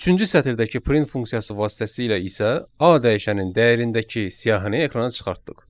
Üçüncü sətirdəki print funksiyası vasitəsilə isə A dəyişənin dəyərindəki siyahını ekrana çıxartdıq.